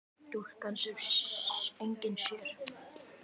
Stúlkan sem enginn sér.